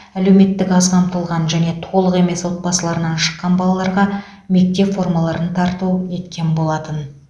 әлеуметтік аз қамтылған және толық емес отбасыларынан шыққан балаларға мектеп формаларын тарту еткен болатын